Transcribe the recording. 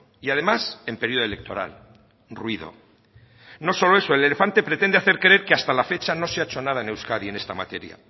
y además en periodo electoral ruido no solo eso el elefante pretende hacer creer que hasta la fecha no se ha hecho nada en euskadi en esta materia